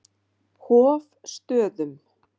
Hofstöðum